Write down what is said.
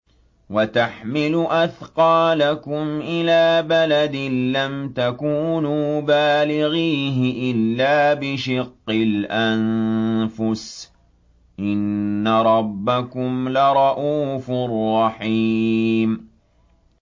وَتَحْمِلُ أَثْقَالَكُمْ إِلَىٰ بَلَدٍ لَّمْ تَكُونُوا بَالِغِيهِ إِلَّا بِشِقِّ الْأَنفُسِ ۚ إِنَّ رَبَّكُمْ لَرَءُوفٌ رَّحِيمٌ